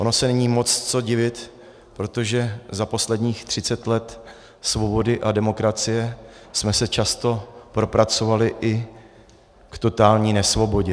Ono se není moc co divit, protože za posledních 30 let svobody a demokracie jsme se často propracovali i k totální nesvobodě.